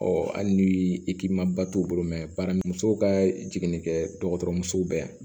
hali ni i k'i ma ba t'u bolo baara muso ka jiginni kɛ bɛ yan